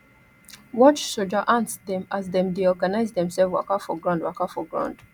watch soldier ants dem as dem dey organize demselves waka for ground waka for ground